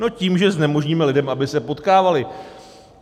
No tím, že znemožníme lidem, aby se potkávali.